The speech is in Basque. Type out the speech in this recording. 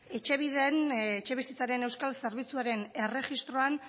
etxebide etxebizitzaren euskal zerbitzuaren erregistroan